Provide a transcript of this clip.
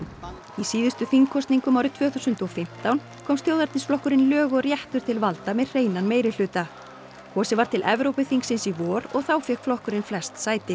í síðustu þingkosningum árið tvö þúsund og fimmtán komst þjóðernisflokkurinn lög og réttur til valda með hreinan meirihluta kosið var til Evrópuþingsins í vor og þá fékk flokkurinn flest sæti